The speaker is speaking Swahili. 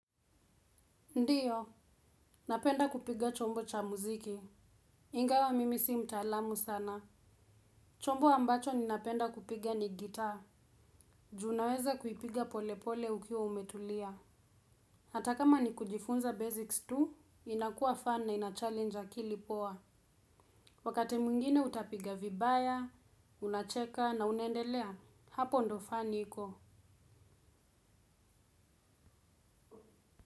Ndiyo, napenda kupiga chombo cha muziki. Ingawa mimi si mtalamu sana chombo ambacho ninapenda kupiga ni gitaa. Juu unaweza kuipiga pole pole ukiwa umetulia. Hata kama ni kujifunza basics tu, inakua fan na inachallenge akili poa. Wakati mwingine utapiga vibaya, unacheka na unandelea, hapo ndio fani iko.